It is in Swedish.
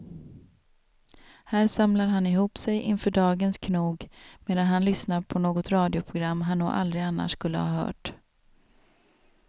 Här samlar han ihop sig inför dagens knog medan han lyssnar på något radioprogram han nog aldrig annars skulle ha hört.